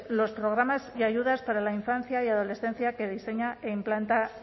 los programas y ayudas para la infancia y adolescencia que diseña e implantar